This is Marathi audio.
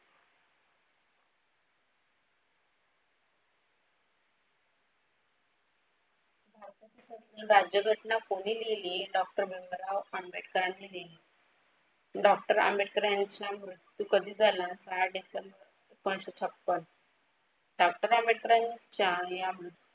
राज्यघटना कोणी लिहिली? डॉक्टर भीमराव आंबेडकरानी लिहिली. डॉक्टर आंबेडकर यांचा मृत्यू कधी झाला? सहा डिसेंबर एकोणीशे छप्पन. डॉक्टर आंबेडकराच्या ह्या